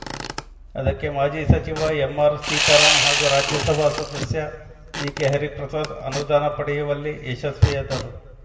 ಅದಕ್ಕೆ ಮಾಜಿ ಸಚಿವ ಎಂಆರ್‌ಸೀತಾರಾಮ್‌ ಹಾಗೂ ರಾಜ್ಯಸಭಾ ಸದಸ್ಯ ಬಿಕೆಹರಿಪ್ರಸಾದ್‌ ಅನುದಾನ ಪಡೆಯುವಲ್ಲಿ ಯಶಸ್ವಿಯಾದರು